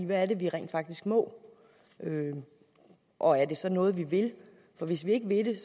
hvad er det vi rent faktisk må og er det så noget vi vil for hvis vi ikke vil det